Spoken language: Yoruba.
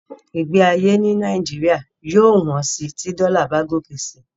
Ìgbé ayé ní Nàìjíríà yóò yóò wón sí tí dollar bá ròkè si